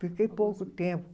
Fiquei pouco tempo.